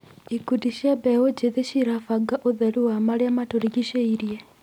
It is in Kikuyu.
Ikundi cia mbeũ njĩthĩ cirabanga ũtheru wa marĩa matũrigicĩirie.